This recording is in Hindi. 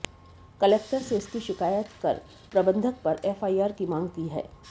कलेक्टर से इसकी शिकायत कर प्रबंधक पर एफआईआर की मांग की है